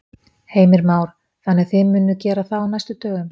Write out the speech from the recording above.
Heimir Már: Þannig að þið munuð gera það á næstu dögum?